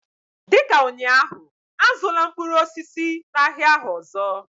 dị ka ụnyaahụ, azụla mkpụrụ osisi n'ahịa ahụ ọzọ!